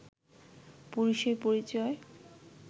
পুরুষের পরিচয়